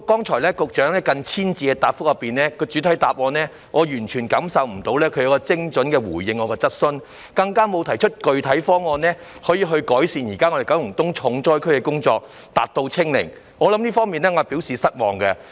對於局長剛才近千字的主體答覆，我完全未能感受到她有精準地回應我的質詢，她更沒有提出具體方案改善現時九龍東成為重災區的情況，達到"清零"，我對此表示失望。